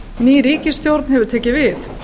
ný ríkisstjórn hefur tekið við